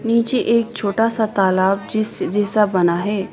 नीचे एक छोटा सा तालाब जीस जैसा बना है।